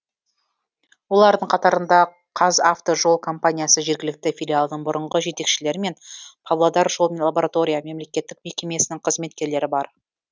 олардың қатарында қазавтожол компаниясы жергілікті филиалының бұрынғы жетекшілері мен павлодар жол лаборатория мемлекеттік мекемесінің қызметкерлері бар